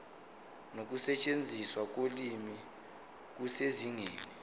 nokusetshenziswa kolimi kusezingeni